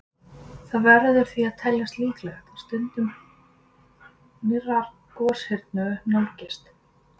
Það verður því að teljast líklegt að stund nýrrar goshrinu nálgist.